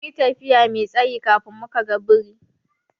Mun yi tafiya Mai tsayi kafin muka ga biri.